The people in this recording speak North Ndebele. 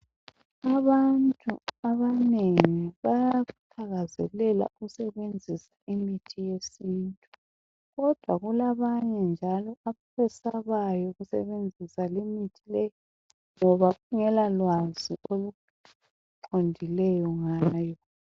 Abantu abanengi bayakuthakazelela ukusebenzisa imithi yesintu kodwa kulabanye njalo abesabayo ukusebenzisa limithi le ngoba kungela lwazi oluqondileyo ngayo.